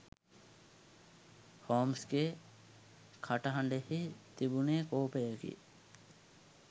හෝම්ස්ගේ කටහ‍ඬෙහි තිබුනේ කෝපයකි.